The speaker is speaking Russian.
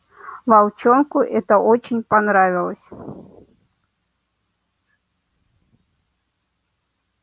волчонку это очень понравилось